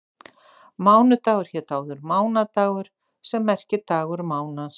Mánudagur hét áður mánadagur sem merkir dagur mánans.